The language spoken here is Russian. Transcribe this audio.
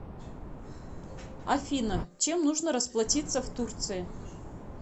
афина чем нужно расплатиться в турции